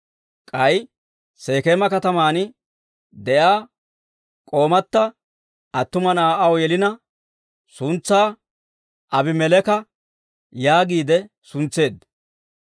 K'ay Sekeema kataman de'iyaa k'oomata attuma na'aa aw yelina, suntsaa Aabimeleeka yaagiide suntseedda.